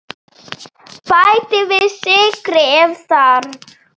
Bætið við sykri ef þarf.